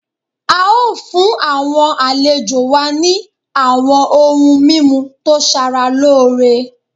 A o fun awọn alejo wa ni awọn oun mimu to sara loore